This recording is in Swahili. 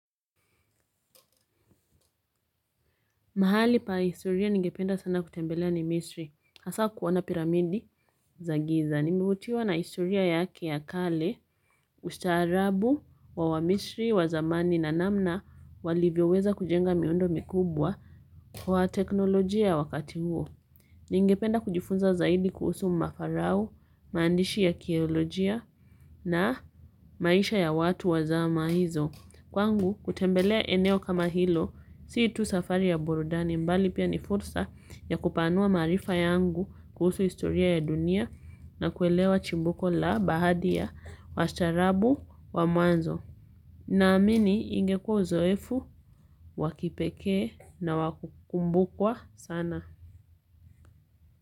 Mahali pa historia ningependa sana kutembelea ni misri, hasa kuona piramidi za giza. Nimevutiwa na historia yake ya kale, ustaarabu wa wamisri wa zamani na namna walivyoweza kujenga miundo mikubwa kwa teknolojia ya wakati huo. Ningependa kujifunza zaidi kuhusu mafarao, maandishi ya akiolojia na maisha ya watu wa zama hizo. Kwangu, kutembelea eneo kama hilo si tu safari ya burudani bali pia ni fursa ya kupanua maarifa yangu kuhusu historia ya dunia na kuelewa chimbuko la baadhi ya wastaarabu wa mwanzo. Naamini ingekuwa uzoefu wa kipekee na wa kukumbukwa sana.